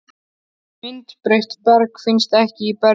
Myndbreytt berg finnst ekki í berggrunni